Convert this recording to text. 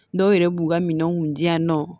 Dɔw yɛrɛ b'u ka minɛnw di yan nɔ